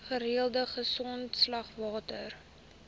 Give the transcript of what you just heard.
gereelde grondslag water